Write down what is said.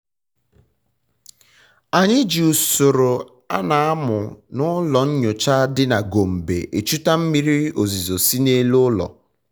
anyị ji usoro ana amụ na ụlọ nyocha dị na gombe echuta mmiri ozizo si na elu ụlọ